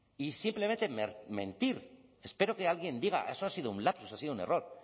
y simplemente mentir espero que alguien diga eso ha sido un lapsus ha sido un error